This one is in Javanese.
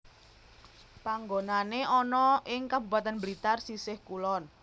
Panggonané ana ing Kabupatèn Blitar sisih kulon